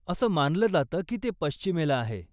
असे मानलं जातं की ते पश्चिमेला आहे.